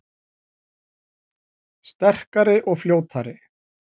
Sterkari og fljótari